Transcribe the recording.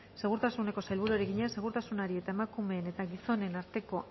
segurtasuneko sailburuari egina segurtasunari eta emakumeen eta gizonen arteko